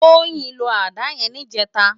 Toyin ló àdá yèn nijètá